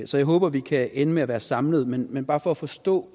så jeg håber vi kan ende med at være samlet men bare for at forstå